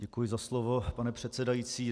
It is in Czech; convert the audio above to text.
Děkuji za slovo, pane předsedající.